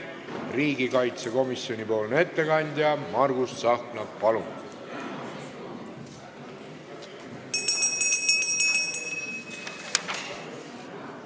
Riigikaitsekomisjoni ettekandja Margus Tsahkna, palun!